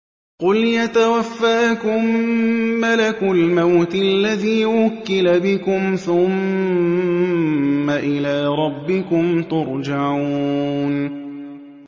۞ قُلْ يَتَوَفَّاكُم مَّلَكُ الْمَوْتِ الَّذِي وُكِّلَ بِكُمْ ثُمَّ إِلَىٰ رَبِّكُمْ تُرْجَعُونَ